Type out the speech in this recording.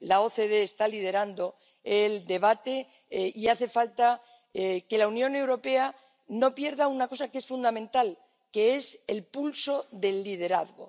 La OCDE está liderando el debate y hace falta que la Unión Europea no pierda una cosa que es fundamental, que es el pulso del liderazgo.